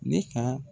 Ne ka